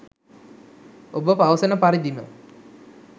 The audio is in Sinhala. ඔබ පවසන පරිදිම